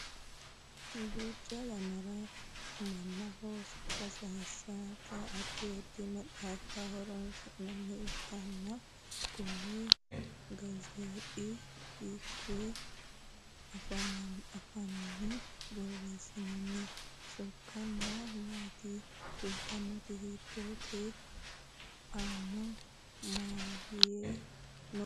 duucha yannara mannaho sokka sayeesate addi addi maxaaffa horonsi'nanni ikkollanna konne gazeexa hiikkuyi afiinni borreessinoonni? sokkasino maati? kuulisino hiitttooho? aanaho maye no?